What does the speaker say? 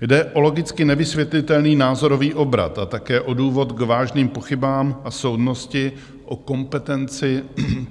Jde o logicky nevysvětlitelný názorový obrat a také o důvod k vážným pochybám a soudnosti o kompetenci